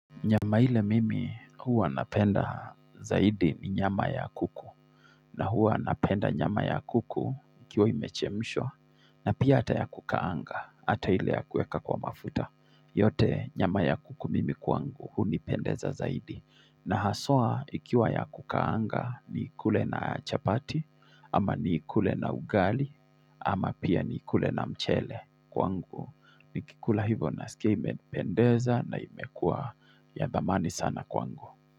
Nyama ile mimi huwa napenda zaidi ni nyama ya kuku na huwa napenda nyama ya kuku ikiwa imechemshwa na pia hata ya kukaanga, hata ile ya kuweka kwa mafuta yote nyama ya kuku mimi kwangu hunipendeza zaidi na haswa ikiwa ya kukaanga nikule na chapati Ama niikule na ugali Ama pia ni kule na mchele kwa ngu Nikikula hivyo nasikia imenipendeza na imekua ya dhamani sana kwangu.